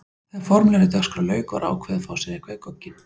Þegar formlegri dagskrá lauk var ákveðið að fá sér eitthvað í gogginn.